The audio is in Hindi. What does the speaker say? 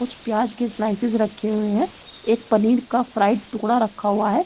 कुछ प्याज के स्लाइसेस रखे हुए हैं। एक पनीर का फ्राई टुकड़ा रखा हुआ है।